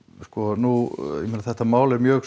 nú er þetta mál mjög